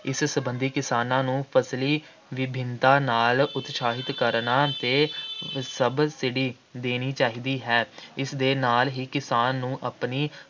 ਇਸ ਸੰਬੰਧੀ ਕਿਸਾਨਾਂ ਨੂੰ ਫ਼ਸਲੀ ਵਿਭਿੰਨਤਾ ਨਾਲ ਉਤਸ਼ਾਹਿਤ ਕਰਨਾ ਅਤੇ subsidy ਦੇਣੀ ਚਾਹੀਦੀ ਹੈ। ਇਸ ਦੇ ਨਾਲ ਹੀ ਕਿਸਾਨ ਨੂੰ ਆਪਣੀ